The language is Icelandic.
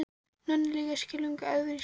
Nonni er líka skelfing erfiður í skapinu.